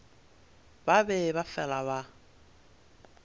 ba be ba fela ba